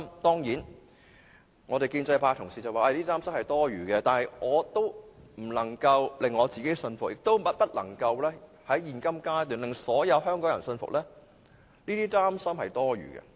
當然，建制派議員說這些擔心是多餘的，但我仍不能令自己信服，亦不能在現階段令所有香港人信服這些擔心是多餘的。